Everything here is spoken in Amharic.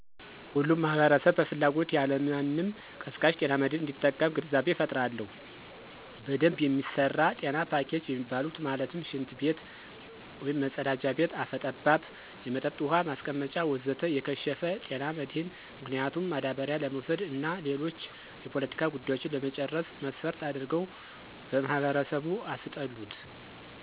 ሁሉም ማህበረሰብ በፍላጎት ያለማንም ቀስቃሽ ጤና መድህን እንዲጠቀም ግንዛቤ እፈጥራለሁ። በደንብ የሚሰራ ጤና ፖኬጅ የሚባሉት ማለትም፦ ሽንት ቤት(መፀዳጃ ቤት)፣ አፈ ጠባብ የመጠጥ ውሀ ማስቀመጫ ወዘተ... የከሸፈ፦ ጤና መድህን ምክንያቱም ማዳበሪያ ለመውሰድ እና ሌሎች የፖለቲካ ጉዳዮችን ለመጨረስ መስፈርት አድርገው በማህበረሰቡ አስጠሉት።